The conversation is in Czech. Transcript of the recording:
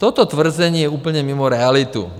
Toto tvrzení je úplně mimo realitu.